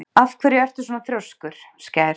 Af hverju ertu svona þrjóskur, Skær?